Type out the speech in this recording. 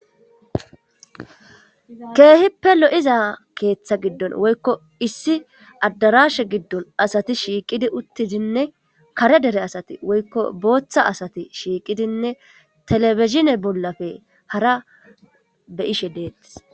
Keehippe lo7iza keeththa giddon woykko issi addarashe giddon asati shiiqidi uttidinne kare dere asati woykko booththa asati shiiqidinne telefizine bollafe hara beyishe deettis.